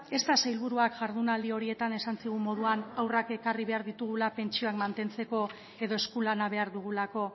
ez da sailburuak jardunaldi horietan esan zigun moduan haurrak ekarri behar ditugula pentsioak mantentzeko edo eskulana behar dugulako